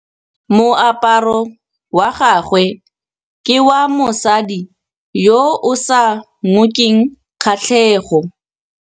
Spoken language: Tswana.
Moaparô wa gagwe ke wa mosadi yo o sa ngôkeng kgatlhegô.